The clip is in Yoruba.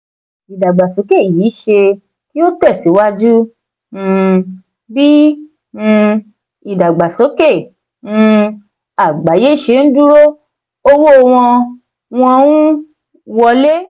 ìdàgbàsókè yìí ṣe kí ó tẹ̀síwájú um bí um ìdàgbàsókè um àgbáyé ṣe ń dúró owó wọ́n wọ́n ń wọlé.